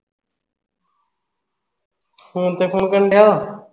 phone ਤੇ phone ਕਰਨ ਦਿਆਂ ਵਾਂ?